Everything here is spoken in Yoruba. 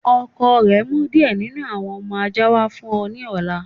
Ọkọ rẹ n mú díẹ̀ nínu awọn ọmọ ajá wa fún ọ ni ọ̀là.